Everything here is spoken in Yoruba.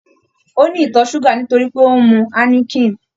Ó ní ìtọ̀ súgà nítorí pé ó ń mu Háíníkìn